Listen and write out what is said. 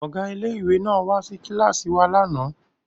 Ọ̀gá ilé ìwé náà wá sí kíláàsì wa lánàá